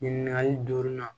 Ɲininkali duurunan